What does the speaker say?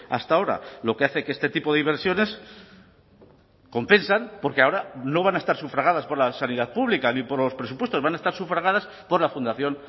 hasta ahora lo que hace que este tipo de inversiones compensan porque ahora no van a estar sufragadas por la sanidad pública ni por los presupuestos van a estar sufragadas por la fundación